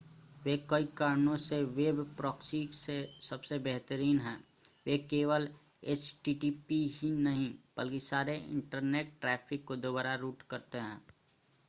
वे कई कारणों से वेब प्रॉक्सी से सबसे बेहतरीन हैं वे केवल एचटीटीपी ही नहीं बल्कि सारे इंटरनेट ट्रैफ़िक को दोबारा रूट करते हैं